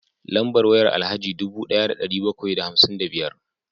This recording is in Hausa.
Lambar wayar Alhaji dubu daya da dari bakwai da hamsin da biyar